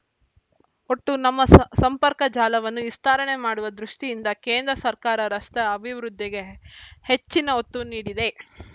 ಒಟ್ಟು ನಮ್ಮ ಸ ಸಂಪರ್ಕಜಾಲವನ್ನು ವಿಸ್ತಾರಣೆ ಮಾಡುವ ದೃಷ್ಟಿಯಿಂದ ಕೇಂದ್ರ ಸರ್ಕಾರ ರಸ್ತೆ ಅಭಿವೃದ್ಧಿಗೆ ಹೆಚ್ಚಿನ ಒತ್ತು ನೀಡಿದೆ